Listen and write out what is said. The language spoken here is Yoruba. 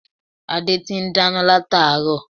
Adé ti n dáná látáárò